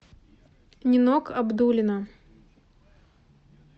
нинок абдуллина